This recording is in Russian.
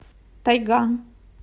тайга